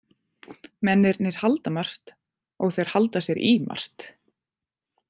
Mennirnir halda margt og þeir halda sér í margt.